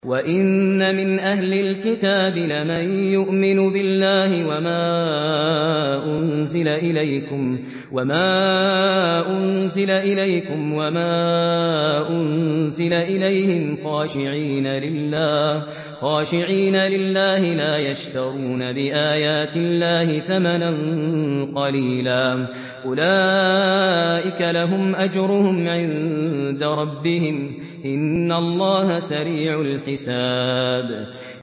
وَإِنَّ مِنْ أَهْلِ الْكِتَابِ لَمَن يُؤْمِنُ بِاللَّهِ وَمَا أُنزِلَ إِلَيْكُمْ وَمَا أُنزِلَ إِلَيْهِمْ خَاشِعِينَ لِلَّهِ لَا يَشْتَرُونَ بِآيَاتِ اللَّهِ ثَمَنًا قَلِيلًا ۗ أُولَٰئِكَ لَهُمْ أَجْرُهُمْ عِندَ رَبِّهِمْ ۗ إِنَّ اللَّهَ سَرِيعُ الْحِسَابِ